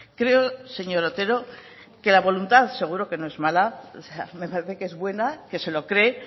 creo señor otero que la voluntad seguro que no es mala me parece que es buena que se lo cree